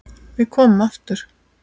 Við komum aftur.